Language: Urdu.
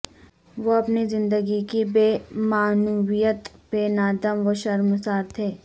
وہ اپنی زندگی کی بے معنویت پہ نادم و شرمسار تھے